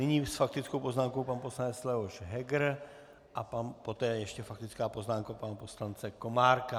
Nyní s faktickou poznámkou pan poslanec Leoš Heger a poté ještě faktická poznámka pana poslance Komárka.